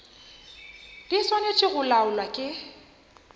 di swanetše go laolwa ke